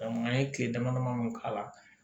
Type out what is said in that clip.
an ye kile dama dama mun k'a la